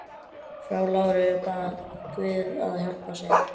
Frú Lára bað guð að hjálpa sér.